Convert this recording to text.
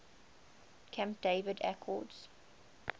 camp david accords